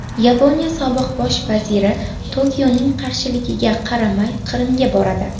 Yaponiya sobiq bosh vaziri Tokioning qarshiligiga qaramay Qrimga boradi.